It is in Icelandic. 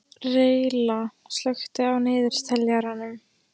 Reyla, slökktu á niðurteljaranum.